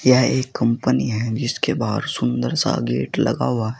यह एक कंपनी है जिसके बाहर सुंदर सा गेट लगा हुआ है।